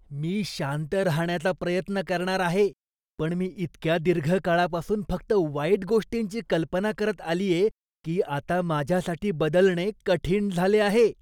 मी शांत राहण्याचा प्रयत्न करणार आहे, पण मी इतक्या दीर्घ काळापासून फक्त वाईट गोष्टींची कल्पना करत आलीये की माझ्यासाठी बदलणे कठीण झाले.